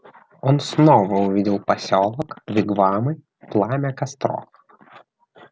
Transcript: он снова увидел посёлок вигвамы пламя костров